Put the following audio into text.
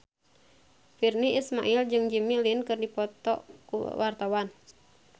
Virnie Ismail jeung Jimmy Lin keur dipoto ku wartawan